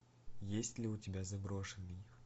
есть ли у тебя заброшенный